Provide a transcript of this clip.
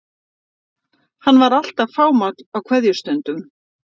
Hann var alltaf fámáll á kveðjustundum.